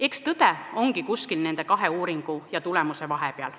Eks tõde ongi kuskil nende kahe vahepeal.